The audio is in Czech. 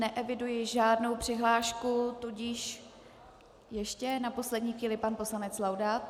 Neeviduji žádnou přihlášku, ale ještě na poslední chvíli pan poslanec Laudát.